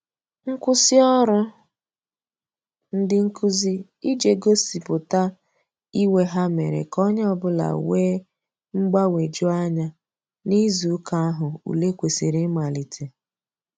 Nkwụsị ọrụ ndị nkụzi ije gosipụta iwe ha mere ka onye ọbụla wee mgbanweju anya n'izụ ụka ahu ụle kwesiri imalite